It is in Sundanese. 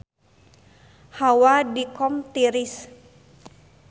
Hawa di Qom tiris